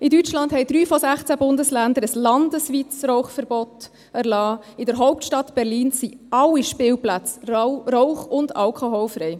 In Deutschland haben 3 von 16 Bundesländern ein landesweites Rauchverbot erlassen, in der Hauptstadt Berlin sind alle Spielplätze rauch- und alkoholfrei.